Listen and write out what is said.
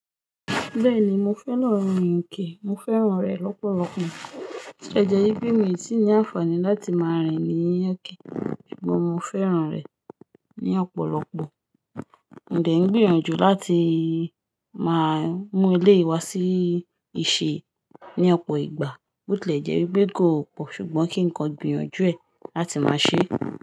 Bẹ́ẹ̀ni mo fẹ́ lọ rin Yínkè, mo fẹ́ràn rẹ̀ lọ́pọ̀lọpọ̀, ṣé jẹ́ bí mi ò tí ì ní àǹfààní láti máa rìn ní Yínkè, ṣùgbọ́n mo fẹ́ràn rẹ̀ ní ọ̀pọ̀lọpọ̀. Ǹ dẹ́ ń gbìyànjú láti máa mú eleyi wa sí ìṣe ní ọ̀pọ̀ ìgbà, bó tí lè jẹ́ wípé kò pọ̀ ṣùgbọ́n kí ǹkan gbìyànjú ẹ̀ láti máa ṣe.